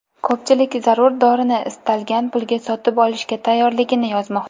Ko‘pchilik zarur dorini istalgan pulga sotib olishga tayyorligini yozmoqda.